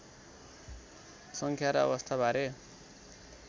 सङ्ख्या र अवस्थाबारे धेरै